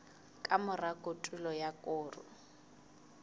ka mora kotulo ya koro